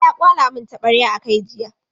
Bala ya kwala mun taɓarya a kai jiya.